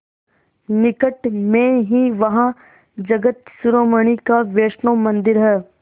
निकट में ही वहाँ जगत शिरोमणि का वैष्णव मंदिर है